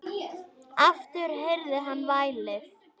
Aftur heyrði hann vælið.